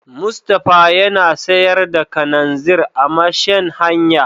Mustapha yana sayar da kananzir a marshen hanya.